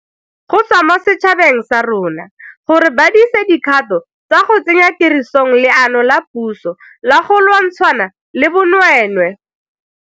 go tswa mo setšhabeng sa rona gore ba dise dikgato tsa go tsenya tirisong leano la puso la go lwantshana le bonweenwee.